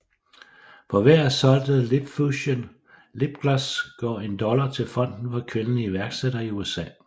For hver solgte LipFusion Lipgloss går en dollar til fonden for kvindelige iværksættere i USA